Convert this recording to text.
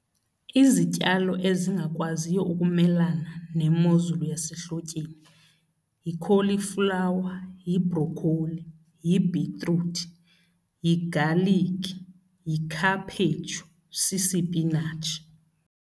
Izityalo ezingakwaziyo ukumelana nemozulu yasehlotyeni yikholiflawa, yibrokholi, yibhitruthi, yigaliki, yikhaphetshu, sisipinatshi.